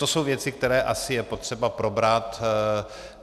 To jsou věci, které asi je potřeba probrat.